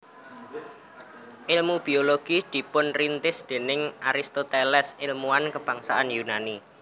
Èlmu biologi dipunrintis déning Aristoteles èlmuwan kebangsaan Yunani